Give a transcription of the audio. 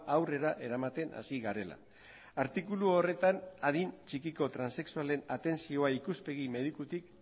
aurrera eramaten hasi garela artikulu horretan adin txikiko transexualen atentzioa ikuspegi medikutik